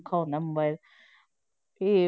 ਔਖਾ ਹੁੰਦਾ ਹੈ mobile ਇਹ